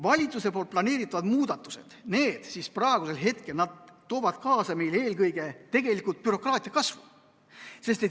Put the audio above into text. Valitsuse planeeritavad muudatused toovad tegelikult kaasa eelkõige bürokraatia kasvu.